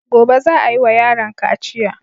Gobe za a yiwa yaron kaciya.